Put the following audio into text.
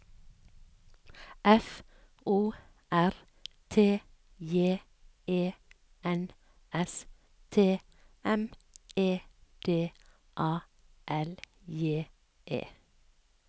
F O R T J E N S T M E D A L J E